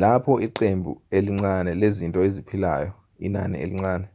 lapho iqembu elincane lezinto eziphilayo inani elincane